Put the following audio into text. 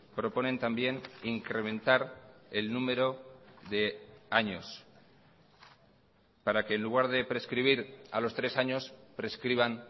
proponen también incrementar el número de años para que en lugar de prescribir a los tres años prescriban